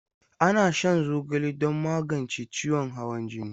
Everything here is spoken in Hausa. Ana shan zogale don magance ciwon hawan jini.